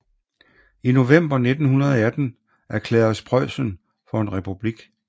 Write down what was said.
I november 1918 erklæredes Preussen for en republik